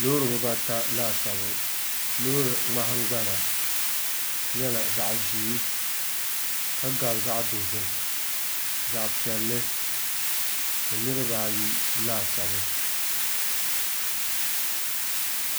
Loori bibata laasabu loori nahangbana nyɛla zaɣ ʒiɛ ka gabi zaɣ dozim zaɣ piɛlli ni niraba ayi laasabu